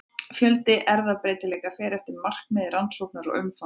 Fjöldi erfðabreytileika fer eftir markmiði rannsóknar og umfangi.